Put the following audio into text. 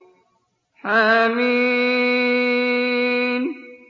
حم